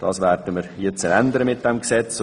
Das werden wir mit diesem Gesetz ändern.